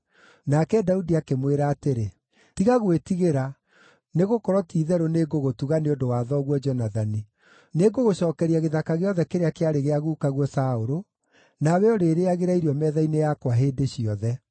Nake Daudi akĩmwĩra atĩrĩ, “Tiga gwĩtigĩra, nĩgũkorwo ti-itherũ nĩngũgũtuga nĩ ũndũ wa thoguo Jonathani. Nĩngũgũcookeria gĩthaka gĩothe kĩrĩa kĩarĩ gĩa gukaguo Saũlũ, nawe ũrĩrĩĩagĩra irio metha-inĩ yakwa hĩndĩ ciothe.”